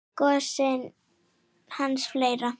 Gosinn hans Geira.